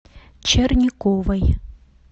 черниковой